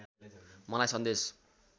मलाई सन्देश